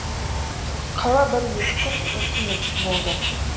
қала бір екі күн үкіметсіз болды